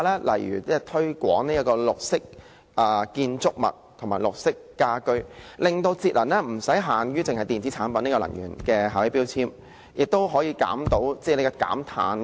例如推廣綠色建築物及綠色家居，令節能不只限於電器產品的能源標籤，還包括可以達到減碳的效用。